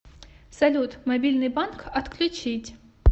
салют мобильный банк отключить